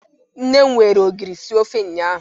Nne m were ogiri sie ofe ụnyahụ